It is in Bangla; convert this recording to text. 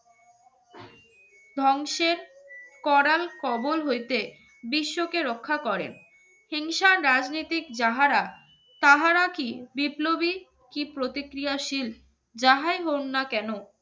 ধ্বংসের করাল কবর হইতে বিশ্বকে রক্ষা করেন হিংসা রাজনৈতিক যাহারা তাহারা কি বিপ্লবী কি প্রতিক্রিয়াশীল যাহাই হোন না কেন